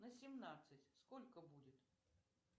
на семнадцать сколько будет